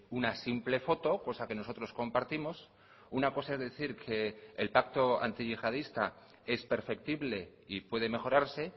una simple foto cosa que nosotros compartimos una cosa es decir que el pacto antiyihadista es perceptible y puede mejorarse